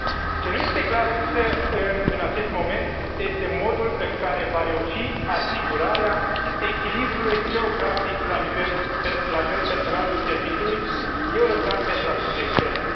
Ce nu este clar, însă, în acest moment, este modul în care se va reuși asigurarea echilibrului geografic la nivelul personalului Serviciului european pentru acțiune externă.